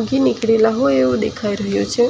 ઉગી નીકળેલા હોય એવું દેખાઇ રહ્યું છે.